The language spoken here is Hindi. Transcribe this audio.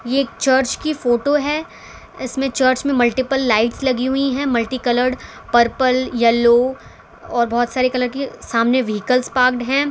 ये एक चर्च की फोटो हैं इसमें चर्च में मल्टीपल लाइट्स लगी हुईं हैं मल्टी कलर्ड पर्पल येलो और बहोत सारे कलर के सामने व्हीइकल पार्कड है।